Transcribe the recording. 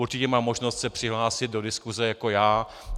Určitě má možnost se přihlásit do diskuse jako já.